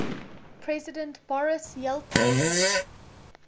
president boris yeltsin